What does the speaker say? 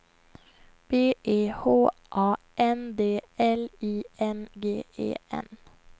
B E H A N D L I N G E N